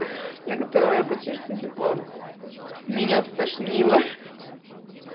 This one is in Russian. на которого я почти что типо меня стошнило